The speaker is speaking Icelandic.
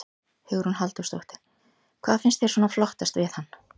Hugrún Halldórsdóttir: Hvað finnst þér svona flottast við hann?